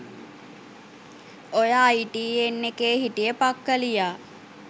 ඔය අයිටීඑන් එකේ හිටිය පක්කලියා